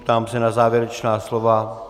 Ptám se na závěrečná slova.